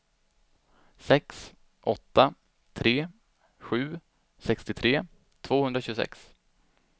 sex åtta tre sju sextiotre tvåhundratjugosex